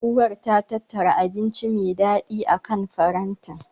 Uwar ta tattara abinci me daɗi akan farantin.